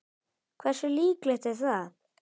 Hversu líklegt er það?